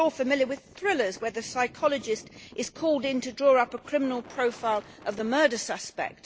We are all familiar with thrillers where the psychologist is called in to draw up a criminal profile of the murder suspect